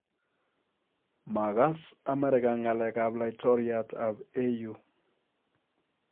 Maakas amerika ngalek ab laitoriat ab AU